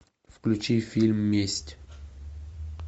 включи фильм месть